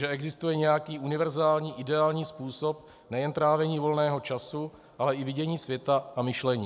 Že existuje nějaký univerzální ideální způsob nejen trávení volného času, ale i vidění světa a myšlení.